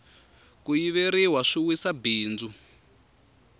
ku yiveriwa swi wisa bindzu